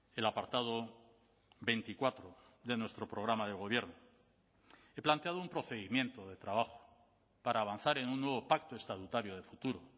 el apartado veinticuatro de nuestro programa de gobierno he planteado un procedimiento de trabajo para avanzar en un nuevo pacto estatutario de futuro